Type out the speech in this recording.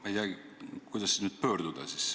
Ma ei teagi, kuidas nüüd pöörduda siis.